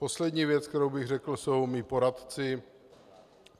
Poslední věc, kterou bych řekl, jsou moji poradci.